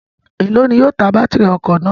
Elo ni yóò ta batiri ọkọ naa?